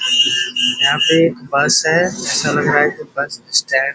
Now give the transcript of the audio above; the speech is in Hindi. यहाँ पे एक बस है ऐसा लग रहा है के बस स्टैंड --